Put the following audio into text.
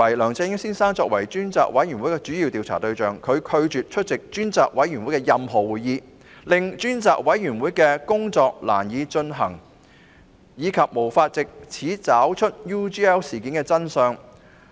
梁振英先生作為專責委員會的主要調查對象，卻拒絕出席所有專責委員會會議，令調查工作難以進行，因而無法查找 UGL 事件的真相。